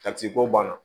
Ka ci ko banna